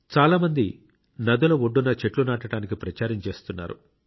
చాలామంది నదుల ఒడ్డున చెట్లు నాటడానికి ప్రచారం చేస్తున్నారు